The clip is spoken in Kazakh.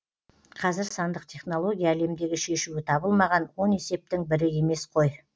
қазір сандық технология әлемдегі шешуі табылмаған он есептің бірі емес қой